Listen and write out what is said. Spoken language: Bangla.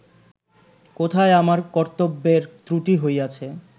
কোথায় আমার কর্ত্তব্যের ত্রুটি হইয়াছে